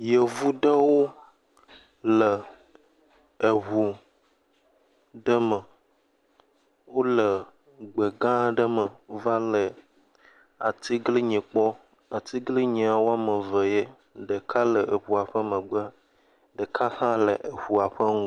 Yevu ɖewo le eŋu ɖe me. Wole gbe gã ɖe me, va le atiglinyi kpɔm. Atiglinyia woame eve ye, ɖeka le eŋua ƒe megbe, ɖe ha le eŋua ƒe ŋgɔ…